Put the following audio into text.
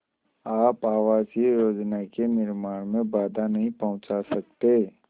आप आवासीय योजना के निर्माण में बाधा नहीं पहुँचा सकते